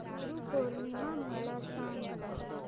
गुरु पौर्णिमा मला सांग